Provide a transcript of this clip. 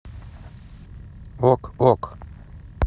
ок ок